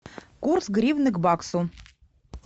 курс гривны к баксу